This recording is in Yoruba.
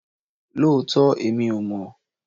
Lóòótọ́!! Èmi ò mọ̀